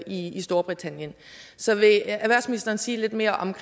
i storbritannien så vil erhvervsministeren sige lidt mere om